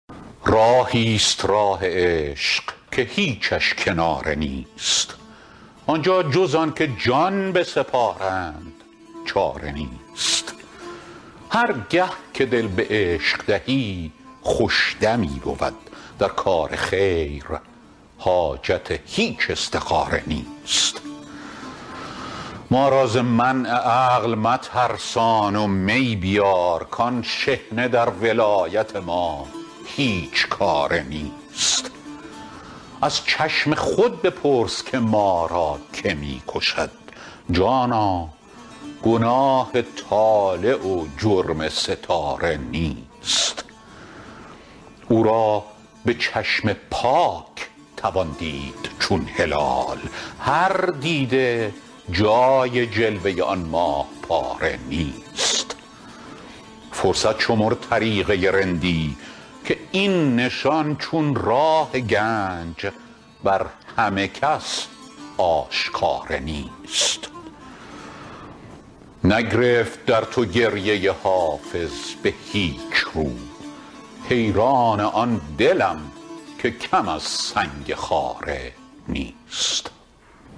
راهی ست راه عشق که هیچش کناره نیست آن جا جز آن که جان بسپارند چاره نیست هر گه که دل به عشق دهی خوش دمی بود در کار خیر حاجت هیچ استخاره نیست ما را ز منع عقل مترسان و می بیار کآن شحنه در ولایت ما هیچ کاره نیست از چشم خود بپرس که ما را که می کشد جانا گناه طالع و جرم ستاره نیست او را به چشم پاک توان دید چون هلال هر دیده جای جلوه آن ماه پاره نیست فرصت شمر طریقه رندی که این نشان چون راه گنج بر همه کس آشکاره نیست نگرفت در تو گریه حافظ به هیچ رو حیران آن دلم که کم از سنگ خاره نیست